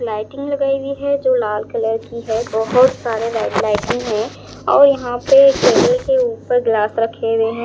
Lighting लगाई हुई है जो लाल कलर की है बहोत सारे लाइटिंग है और यहां पे टेबल के ऊपर ग्लास रखें हुए हैं।